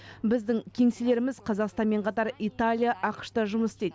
біздің кеңселеріміз қазақстанмен қатар италия ақш та жұмыс істейді